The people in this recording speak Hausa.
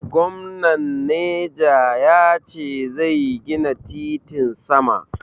Gomnan neja ya ce zai gina titin sama.